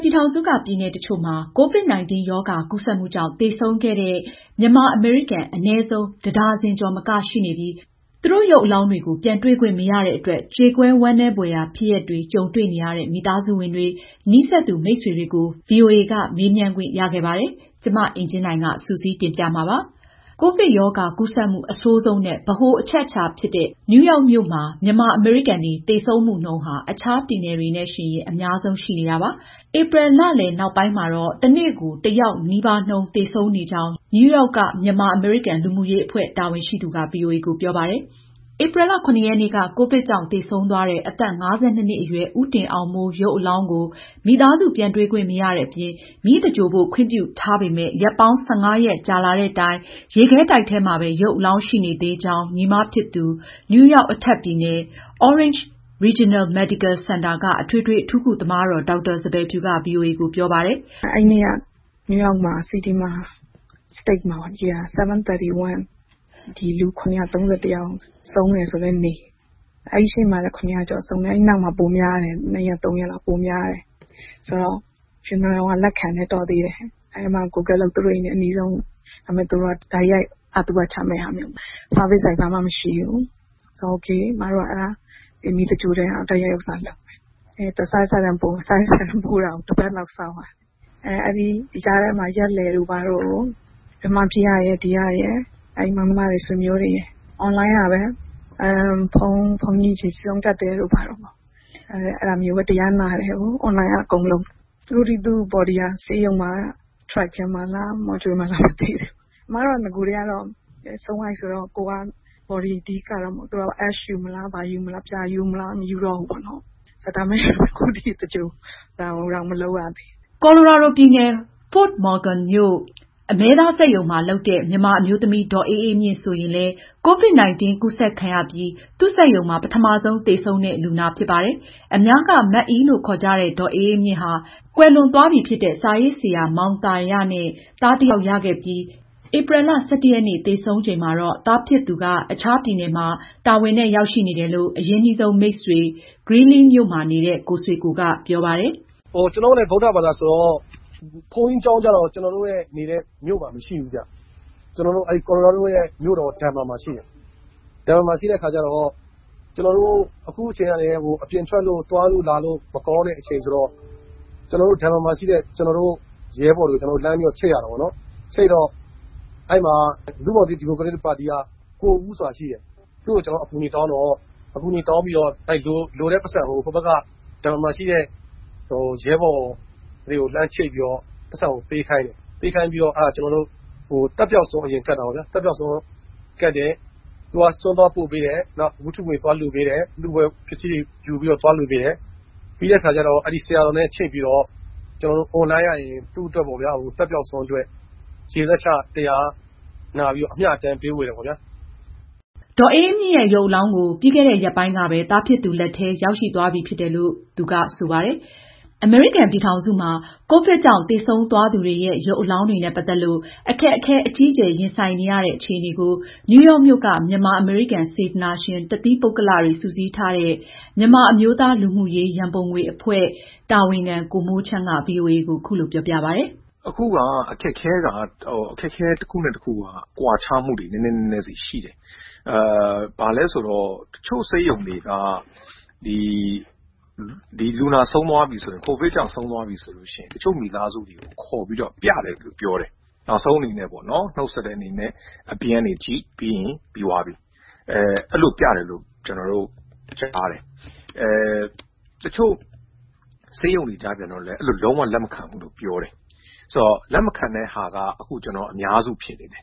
ပြည်ထောင်စုက ပြည်နယ်တချို့မှာ COVID-19 ရောဂါ ကူးစက်မှုကြောင့် သေဆုံးခဲ့တဲ့ မြန်မာ အမေရိကန် အနည်းဆုံး တဒါဇင်ကျော် မကရှိနေပြီး သူတို့ရုပ်အလောင်းတွေကို ပြန်တွေ့ခွင့် မရတဲ့ အတွက် ကြေကွဲဝမ်းနည်းဖွယ်ဖြစ်ရပ်တွေ ကြုံတွေ့နေရတဲ့ မိသားစုဝင်တွေ၊ နီးစပ်သူ မိတ်ဆွေတွေကို ဗွီအိုအေက မေးမြန်းခွင့်ရခဲ့ပါတယ်။မအင်ကြင်းနိုင်က စုစည်းတင်ပြထားပါတယ်။ ကိုဗစ်ရောဂါကူးစက်မှု အဆိုးဆုံးနဲ့ ဗဟိုအချက်ဖြစ်တဲ့ နယူးရောက်မြို့မှာ မြန်မာ အမေရိကန်တွေ သေဆုံးမှုနှုန်း အခြားပြည်နယ်တွေနဲ့ ယှဉ်ရင် အများဆုံးရှိနေပါတယ်။ ဧပြီ လလယ်နောက်ပိုင်း တနေ့ကို တယောက်နှုန်းနီးပါးသေဆုံးနေကြောင်း နယူးရောက် က မြန်မာအမေရိကန် လူမှုရေးအဖွဲ့ တာဝန်ရှိသူက ဗွီအိုအေကို ပြောပါတယ်။ ဧပြီလ (၇)ရက်နေ့က ကိုဗစ်ကြောင့်သေဆုံးသွားတဲ့ အသက် ၅၂ နှစ်အရွယ် ဦးတင်အောင်မိုး ရုပ်အလောင်းကို မိသားစု ပြန်တွေ့ခွင့်မရတဲ့အပြင် မီးသဂြိုလ်ဖို့ ခွင့်ပြုထားပေမယ့် ရက်ပေါင်း ၁၅ ရက်ကြာလာတဲ့တိုင် ရုပ်အလောင်း ဘယ်မှာရှိနေသလဲဆိုတာ မသိရကြောင်း ညီမဖြစ်သူ နယူးရောက် အထက်ပြည်နယ် Orange Regional Medical စင်တာက အထွေထွေအထူးကု သမားတော် ဒေါက်တာ စံပယ်ဖြူက ဗွီအိုအေကိုပြောပါတယ်။ "သူဆုံးတဲ့နေ့တနေ့ထဲမှာ နယူးရောက်ပြည်နယ်တခုလုံး ကိုဗစ်ကြောင့် သေဆုံးသူပေါင်း ၇၃၁ ယောက်ဆုံးတယ် ဆိုတဲ့ နေ့ပါ။ နောက်ပိုင်း တရက်နှစ်ရက်မှာ သေဆုံးတဲ့နှုန်းက ပိုများတယ်။ ဒါပေမယ့် ဈာပနာလုပ်ပေးတဲ့နေရာက လက်ခံတယ်။ တော်သေးတယ်။ သူတို့အိမ်နဲ့ အနီးဆုံးပေါ့။ ဒါပေမဲ့ အရင်လို တိုက်ရိုက် ဈာပနာ အခမ်းအနားကို ဝန်ဆောင်မှုပေးတာမျိုး မရှိဘူး။ အဲတော့ မီးသင်္ဂြ ိုလ်မယ်ပေါ့။ စာရွက်စာတမ်းတွေ ပို့ပေးပါဆိုတော့ အသွားအပြန် တပတ်လောက်ကြာတယ်။ ဒီကြားထဲမှာ ရက်လည်အတွက်မြန်မာပြည်ကရယ် ၊ ဒီကရယ် မောင်နှမသားချင်း၊ ဆွေမျိုးတွေ အွန်လိုင်းကပဲ ဘုန်းကြီးကို ဆွမ်းကပ်ရတယ်။ အွန်လိုင်းကပဲ တရားနာရတယ်။ အခုထက်ထိ သူ body က ဆေးရုံမှာလား၊ အအေးခန်းရှိတဲ့ ထရပ်ကားထဲမှာလား၊ မော်ကျူလီထဲမှာလား၊ ဘယ်မှာရှိမှန်း မသိဘူး။" ကိုလိုရာဒိုပြည်နယ် Fort Morgan မြို့ အမဲသား စက်ရုံမှာ လုပ်တဲ့ မြန်မာအမျိုးသမီး ဒေါ်အေးအေးမြင့် ဆိုရင် လည်း COVID-19 ကူးစက်ခံရပြီး သူ့စက်ရုံမှာ ပထမဆုံးသေဆုံးတဲ့ လူနာဖြစ်ပါတယ်။ အများက မအိလို့ ခေါ်ကြတဲ့ ဒေါ်အေးအေးမြင့်ဟာ ကွယ်လွန်သွားပြီဖြစ်တဲ့ စာရေးဆရာမောင်သာရနဲ့ သားတယောက် ရခဲ့ပြီးဧပြီလ ၁၁ ရက် သေဆုံးချိန်မှာတော့ သားဖြစ်သူက အခြားပြည်နယ်မှာ တာဝန်နဲ့ရောက်ရှိနေတယ်လို့ အရင်းနှီးဆုံးမိတ်ဆွေ Greeley မြို့မှာ နေတဲ့ ကိုဆွေကို ကပြောပါတယ်။ "ကျနော်တို့လည်း ဗုဒ္ဓဘာသာဆိုတော့ ဘုန်းကြီးကျောင်းကျတော့ ကျနော်တို့ နေတဲ့ မြို့မှာ မရှိဘူးဗျ။ ကိုလိုရာဒို ပြည်နယ်မြို့တော် ဒန်ဗာမှာပဲရှိတာ။ အခုအချိန်ကလည်း အပြင်ထွက်လို့ သွားလို့လာလို့ မကောင်းတဲ့ အချိန်ဆိုတော့ ဒန်ဗာမှာရှိတဲ့ ကျနော်တို့ရဲဘော်တွေကိုလှမ်းပြီး ချိတ်ရတာပေါ့။ လူ့ဘောင်သစ် ဒီမိုကရက်တစ်ပါတီက ကိုဦးဆိုတာ ရှိတယ်။ သူ့ကို ကျနော်တို့ အကူအညီတောင်းပြီး သက်ပျောက်ဆွမ်း အရင်ကပ်တယ်။ သူက ဆွမ်းသွားပို့ပေးတယ်။ နောက် ဝတ္ထုငွေ သွားကပ်ပေးတယ်။ ပြီးတော့ ဆရာတော်နဲ့ အွန်လိုင်းကနေ ကျနော်တို့ကို ချိတ်ပြီး မအိ အတွက် သက်ပျောက်ဆွမ်းကပ် ရေစက်ချ၊ အမျှအတမ်းဝေပါတယ်။ " ဒေါ်အေးအေးမြင့်ရဲ့ ရုပ်အလောင်းကို ပြီးခဲ့တဲ့ ရက်ပိုင်းကပဲ သားဖြစ်သူ လက်ထဲ ရောက်ရှိ သွားပြီဖြစ်တယ်လို့လည်း ကိုဆွေကိုက ပြောပါတယ်။ အမေရိကန်ပြည်ထောင်စုမှာ ကိုဗစ်ရောဂါကြောင့် သေဆုံးသူတွေရဲ့ ရုပ်အလောင်း တွေနဲ့ ပတ်သက်လို့ အခက်အခဲအကြီးအကျယ်ရင်ဆိုင်နေရတဲ့ အခြေအနေကိုနယူးယောက်မြို့က မြန်မာအမေရိကန် စေတနာရှင် တသီးပုဂ္ဂလိကတွေစုစည်းထားတဲ့ မြန်မာအမျိုးသား လူမှုရေးရန်ပုံငွေအဖွဲ့ (National Humanitarian Fundraising for Myanmar - NHFMM) တာဝန်ခံ ကိုမိုးချမ်းက အခုလိုပြောပြပါတယ်။ "အခုက အခက်အခဲကွာခြားမှုတွေက တနေရာနဲ့တနေရာ နဲနဲဆီရှိတယ်။ တချို့ဆေးရုံတွေက လူနာ ကိုဗစ်ကြောင့် ဆုံးသွားပြီဆိုရင် တချို့မိသားစုတွေကို ခေါ်ပြီးပြတယ်လို့ ပြောတယ်။ နောက်ဆုံးအနေနဲ့ နှုတ်ဆက်တဲ့ အနေနဲ့ အပြင်ကနေ ကြည့်။ ပြီးရင် ပြန်။ အဲဒီလို ခေါ်ပြတယ်လို့ ကြားတယ်။ တချို့ဆေးရုံတွေကြတော့ အဲဒီလို မျိုး လုံးဝလက်မခံဘူးလို့ ပြောတယ်။ အဲဒီလို လက်မခံတဲ့ဟာက အများစုဖြစ်နေတယ်